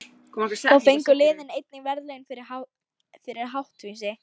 Þá fengu liðin einnig verðlaun fyrir háttvísi.